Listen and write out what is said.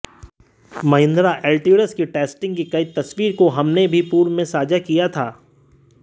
Mahindra Alturas के testing की कई तस्वीरों को हमने भी पूर्व में साझा किया था